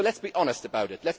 So let us be honest about it.